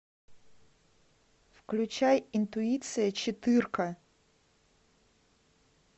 включай интуиция четырка